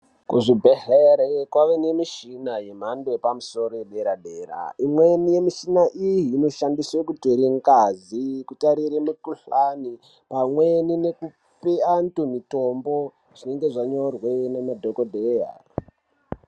Kuzvibhehleri kwave nemishina yemhando yepamusoro yedera-dera. Imweni yemishina iyi inoshandiswe kutore ngazi kutarire mikuhlani pamweni nekupe antu mitombo, zvinenge zvanyorwe naana dhogodheya.